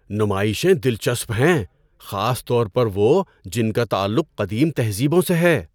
نمائشیں دلچسپ ہیں، خاص طور پر وہ جن کا تعلق قدیم تہذیبوں سے ہے۔